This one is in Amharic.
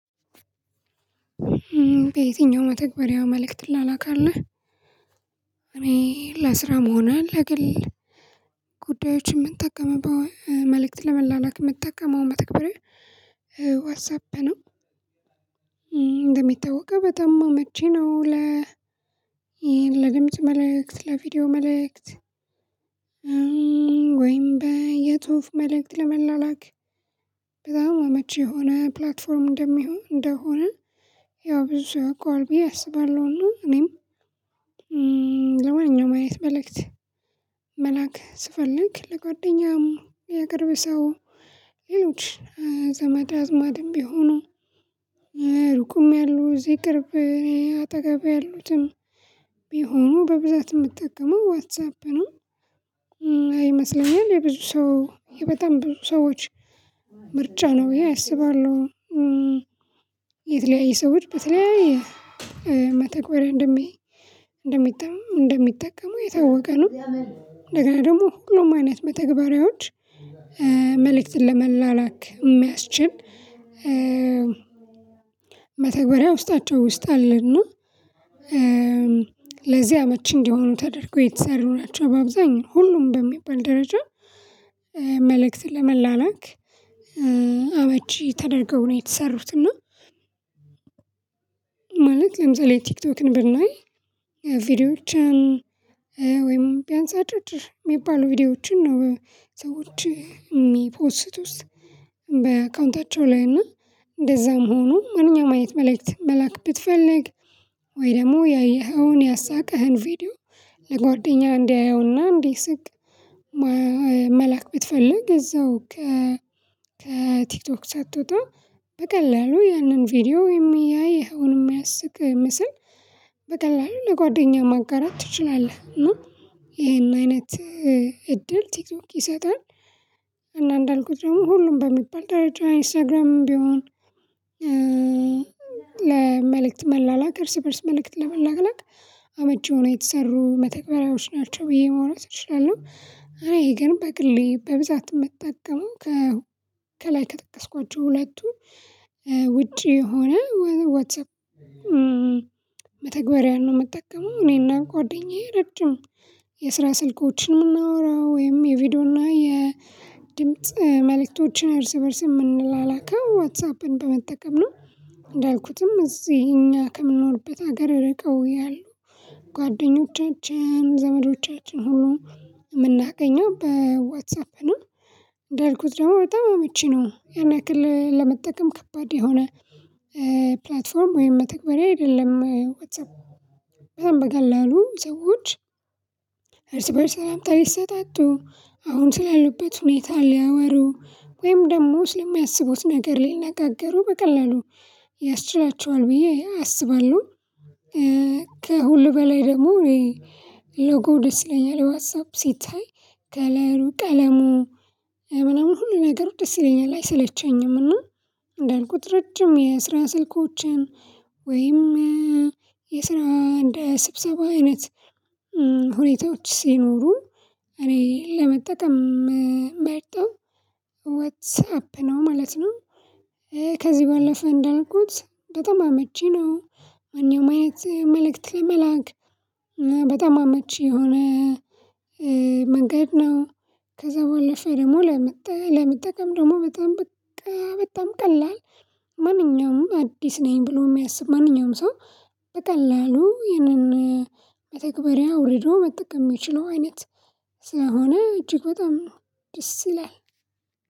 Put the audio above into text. በየትኛው መተግበሪያው መልእክት ትላላክህ እኔ ለስራ ሆነ ለግል ጉዳዮች የምንጠቀመው መልእክት ለመላላክ የምንጠቀመው መተግበርያ ዋትሳፕ ነው። እንደሚታወቀው በጣም አመቺ ነው ለ ለድምጽ መልእክት ለቪዲዮ መልእክት ወይም በ የጽሁፍ መልእክት ለመላላክ በጣም አመቺ የሆነ ፕላትፎርም እንደሚሆን እንደሆነ ያው ብዙ ሰው ያውቀዋል ብዬ አስባለሁ። እና እኔም ለማንኛውም አይነት መልእክት መላክ ስፈልግ ለጓደኛም የቅርብ ሰው ሌሎች ዘመድ አዝማድም ቢሆኑም ሩቁም ያሉ እዚህ ቅርብ እኔ አጠገብ ያሉትም ቢሆኑ በብዛት የምትጠቀመው ዋትሳፕ ነው። አይመስለኝም የብዙ ሰው በጣም ብዙ ሰዎች ምርጫ ነው ብዬ አስባለሁ። የተለያየ ሰዎች በተለያዩ መተግበሪያ እንደሚጠቀሙ የታወቀ ነው። እንደገና ደግሞ ሁሉም አይነት መተግበሪያዎች መልእክትን ለመላላክ የሚያስችል መተግበሪያ ውስጣቸው ውስጥ አለና ለዚህ አመቺ እንዲሆኑ ተደርጎ የተሰሩ ናቸው። በአብዛኛው ሁሉም በሚባል ደረጃ መልእክት ለመላላክ አመቺ ተደርገው ነው የተሰሩት። እና ማለት ለምሳሌ ቲክቶክን ብናይ ቪዲዮዎች ወይም ቢያንስ አጫጭር የሚባሉ ቪዲዮዎችን ነው ሰዎች የሚፖስቱት በአካውንታቸው ላይ እና እንደዛም ሆኖ ማንኛውም አይነት መልእክት መላክ ብትፈልግ ወይ ደግሞ ያየኸውን ያሳቀህን ቪዲዮ ለጓደኛ እንዲያየውና እንዲ ስቅ መላክ ብትፈልግ እዛው ከ ከቲክቶክ ሳትወጣ በቀላሉ ያንን ቪዲዮ የሚያይ ይሄውን የሚያስቅ ምስል በቀላሉ ለጓደኛ ማጋራት ትችላለህ። እና ይሄን አይነት እድል ቲክቶክ ይሰጣል። እና እንዳልኩት ደግሞ ሁሉም በሚባል ደረጃ ኢንስታግራም ቢሆን ለመልእክት መላላክ እርስ በእርስ መልእክት ለመላላክ አመቺ ሆነው የተሰሩ መተግበሪያዎች ናቸው ብዬ ማውራት እችላለሁ። እኔ ግን በግሌ በብዛት የምትጠቀመው ከላይ ከጠቀስኳቸው ሁለቱ ውጪ የሆነ ዋትሳፕ መተግበሪያ ነው የምጠቀመው እኔና ጓደኛዬ ረጅም የስራ ስልኮችን የምናወራው ወይም የቪዲዮ እና የድምጽ መልእክቶችን እርስ በእርስ የምንላላከው ዋትሳፕን በመጠቀም ነው። እንዳልኩትም እዚህ እኛ ከምንኖርበት ሀገር ርቀው ያሉ ጓደኞቻችን ዘመዶቻችን ሁሉ የምናገኘው በዋትሳፕ ነው። እንዳልኩት ደግሞ በጣም አመቺ ነው ያን ያክል ለመጠቀም ከባድ የሆነ ፕላትፎርም ወይም መተግበርያ አይደለም ዋትሳፕ በጣም በቀላሉ ሰዎች እርስ በእርስ ሰላምታ ሊሰጣጡ አሁን ስላሉበት ሁኔታ ሊያወሩ ወይም ደግሞ ስለሚያስቡት ነገር ሊነጋገሩ በቀላሉ ያስችላቸዋል ብዬ አስባለሁ። ከሁሉ በላይ ደግሞ ሎጎው ደስ ይለኛል ዋትሳፕ ሲታይ ከለሩ ቀለሙ ምንም ሁሉ ነገር ደስ ይለኛል አይሰለቸኝምና እንዳልኩት ረጅም የስራ ስልኮችን ወይም የስራ እንደ ስብሰባ አይነት ሁኔታዎች ሲኖሩ እኔ ለመጠቀም የምመርጠው ዋትሳፕ ነው ማለት ነው። ከዚህ ባለፈ እንዳልኩት በጣም አመቺ ነው። ማንኛውም አይነት መልእክት ለመላክ በጣም አመቺ የሆነ መንገድ ነው። ከዛ በኋላ ፈርሞ ለመጠቀም ደግሞ በጣም በጣም ቀላል ማንኛውም አዲስ ነኝ ብሎ የሚያስብ ማንኛውም ሰው በቀላሉ ይህንን መተግበሪያ አውርዶ መጠቀም የሚችለው አይነት ስለሆነ እጅግ በጣም ደስ ይላል።